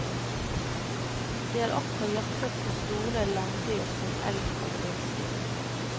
De har også jaktet på store landdyr som elg og villsvin.